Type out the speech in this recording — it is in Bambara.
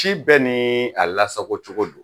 Ci bɛɛ ni a lasagocogo don